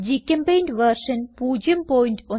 ഗ്ചെമ്പെയിന്റ് version 01210